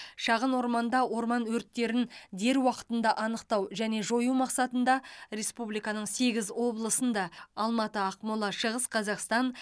шағын орманда орман өрттерін дер уақытында анықтау және жою мақсатында республиканың сегіз облысында алматы ақмола шығыс қазақстан